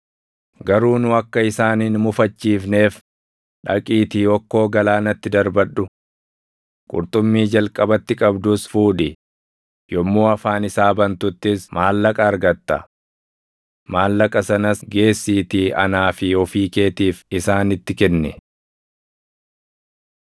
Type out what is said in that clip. Garuu nu akka isaan hin mufachiifneef dhaqiitii okkoo galaanatti darbadhu. Qurxummii jalqabatti qabdus fuudhi; yommuu afaan isaa bantuttis maallaqa argatta. Maallaqa sanas geessiitii anaa fi ofii keetiif isaanitti kenni.”